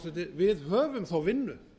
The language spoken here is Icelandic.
við höfum þá vinnu